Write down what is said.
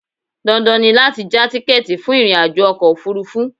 Dandan ni láti já tíkẹ́ẹ̀tì fún ìrìnàjò ọkọ̀ òfurufú